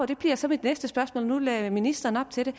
det bliver så mit næste spørgsmål for nu lagde ministeren op til det